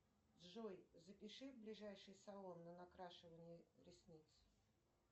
джой запиши в ближайший салон на накрашивание ресниц